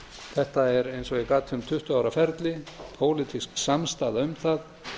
þetta er eins og ég gat um tuttugu ára ferli pólitísk samstaða um það